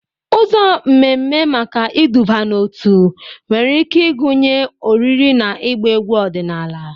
Ụzọ mmemme maka iduba n'otu nwere ike ịgụnye oriri na ịgba egwu ọdịnala.